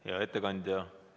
Hea ettekandja!